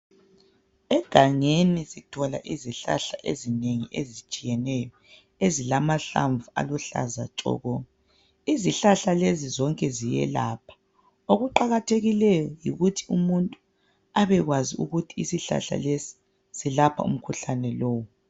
Egangeni sithola izihlahla ezinengi ezitshiyeneyo ezilamahlamvu aluhlaza tshoko. Izihlahla lezi zonke ziyelapha okuqakathekileyo yikuthi umuntu abekwazi ukuthi isihlahla lesi siyelapha umkhuhlane lowu.